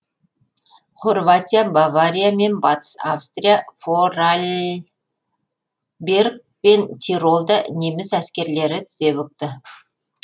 хорватия бавария мен батыс австрия форарльберг пен тиролда неміс әскерлері тізе бүкті